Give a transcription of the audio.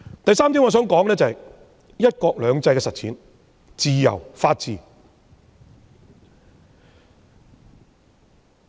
第三點，我想說說"一國兩制"的實踐、自由和法治。